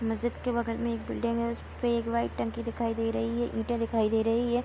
मस्जिद के बगल में एक बिल्डिंग है। उस पे एक वाइट टंकी दिखाई दे रहा है। ईंटे दिखाई दे रही हैं।